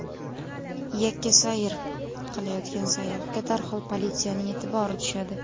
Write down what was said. Yakka sayr qilayotgan sayyohga darhol politsiyaning e’tibori tushadi.